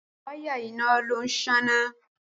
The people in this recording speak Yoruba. Wáyà iná ló ń sáná